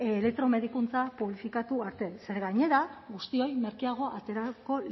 medikuntza publifikatu arte ze gainera guztiei merkeago aterako